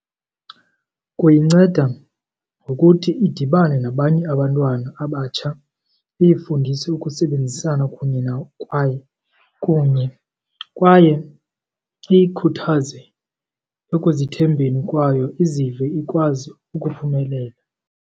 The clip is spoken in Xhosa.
Kuyinceda ngokuthi idibane nabanye abantwana abatsha, iyifundise ukusebenzisana kunye nabo kwaye kunye, kwaye iyikhuthaze ekuzithembeni kwayo izive ikwazi ukuphumelela.